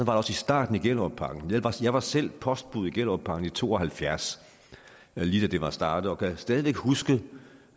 også i starten i gellerupparken jeg var selv postbud i gellerupparken i nitten to og halvfjerds lige da det var startet og jeg kan stadig huske